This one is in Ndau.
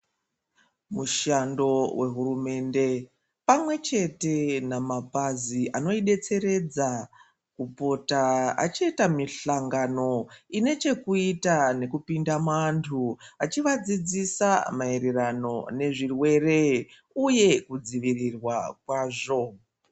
Mushando wehurumende pamwe chete nemapazi anoidetseredza kupota achiita mihlangano ine chekuita nekupinda muanhu achivadzidzisa maererano nezvirwere uye kudzivirirwa kwazvo